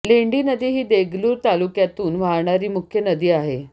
लेंडी नदी ही देगलूर तालुक्यातून वाहणारी मुख्य नदी आहे